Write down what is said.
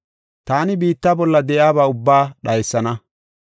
“Taani biitta bolla de7iyaba ubbaa dhaysana.